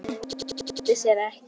Það leyndi sér ekki.